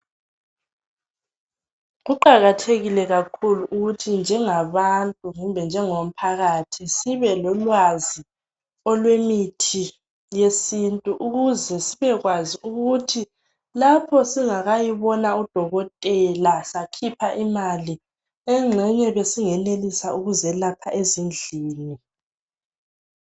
Kuqakathekile kakhulu ukuthi njengabantu kumbe njengomphakathi sibe lolwazi olwemithi yesintu ukuze sibakwazi ukuthi lapho singakayibona udokotela sakhipha imali engxenye besingenelisa ukuzelapha ezindlini.